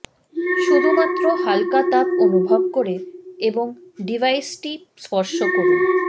শুধুমাত্র হালকা তাপ অনুভব করে এবং ডিভাইসটি স্পর্শ করুন